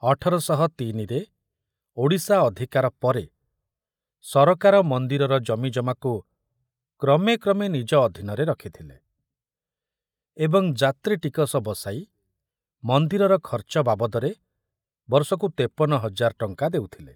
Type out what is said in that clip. ଅଠର ଶହ ତିନିରେ ଓଡ଼ିଶା ଅଧିକାର ପରେ ସରକାର ମନ୍ଦିରର ଜମିଜମାକୁ କ୍ରମେ କ୍ରମେ ନିଜ ଅଧୀନରେ ରଖିଥିଲେ ଏବଂ ଯାତ୍ରୀ ଟିକସ ବସାଇ ମନ୍ଦିରର ଖର୍ଚ୍ଚ ବାବଦରେ ବର୍ଷକୁ ତେପନ ହଜାର ଟଙ୍କା ଦେଉଥିଲେ।